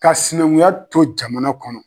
Ka sinaŋuya to jamana kɔnɔ